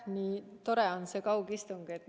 Nii tore on see kaugistung!